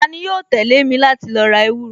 Tani yóò tẹ̀lé mi láti lo ra ewúro